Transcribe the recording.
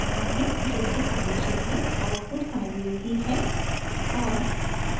जैसा अपेक्षित है आउटपुट sine wave ही है और